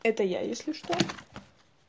это я если что